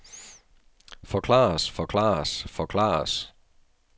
forklares forklares forklares